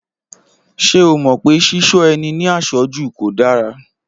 Ṣé o mọ̀ pé Ṣíṣọ́ ẹni ní àṣọ́jù kò dára?